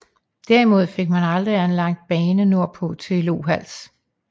Derimod fik man aldrig anlagt bane nordpå til Lohals